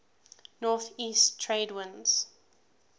northeast trade winds